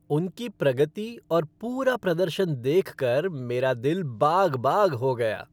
उनकी प्रगति और पूरा प्रदर्शन देखकर मेरा दिल बाग बाग हो गया।